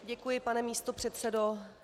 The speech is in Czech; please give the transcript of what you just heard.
Děkuji, pane místopředsedo.